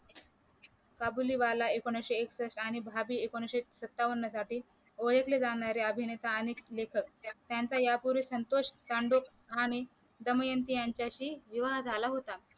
काबूलीवाला वाला एकोणीशे एकसष्ठ आणि भाभी एकोणीशे सत्तावन्न साठी ओळखले जाणारे अभिनेता आणि लेखक त्यांचा यापूर्वी संतोष कानडोक आणि दमयंती यांच्याशी विवाह झाला होता